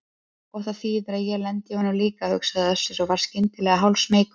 Og það þýðir að ég lendi í honum líka, hugsaði Össur og varð skyndilega hálfsmeykur.